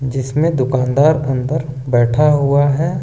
जिसमें दुकानदार अंदर बैठा हुआ है।